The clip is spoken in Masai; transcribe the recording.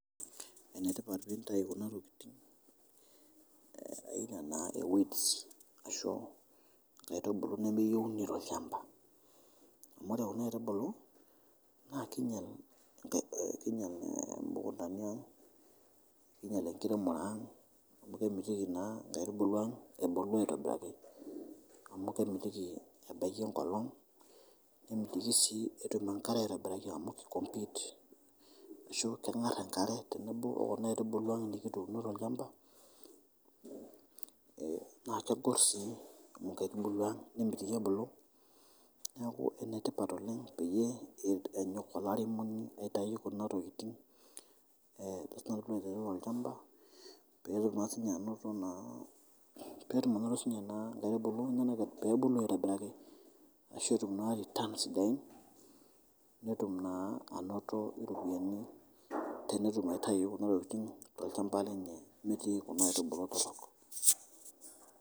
Enetipat pinyau kuna tokitin ejo naa weeds ashu oitubulu nemeyeuni te olshamba, amu ore kuna oitubulu naa keinyal enkiremore aang' amu kemitiki naa oitubulu aang' ebulu aitobiraki amu kemitiki ebaki enkolong nemitiki si etum enkare aitobiraki amu kei compete keng'ar enkare o naitubulu aang' nikituuno te lchamba naa kepor sii nkaitubulu aang' nemitiki ebulu neaku enetipat oleng peyie enyok olaremoni aitayau kuna kuna tokitin pee eiwang' te lchamba peetum anoto si ninye naa oitubulu peebulu aitobiraki asho peetum returns sidain, netun naa anoto ropiani tenetum naa aitayu kuna tokitini naa te ale chamba lenye emetii kuna aitubulu torok.